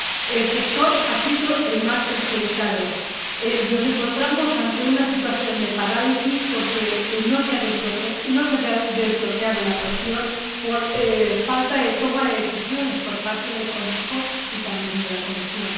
Este es el sector que ha sido el más perjudicado. Nos encontramos ante una situación de parálisis porque no se ha desbloqueado la cuestión por falta de toma de decisiones por parte del Consejo y también de la Comisión.